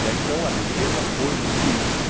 e aí então, a defesa foi muito isso.